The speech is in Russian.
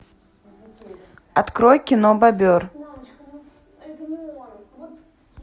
открой кино бобер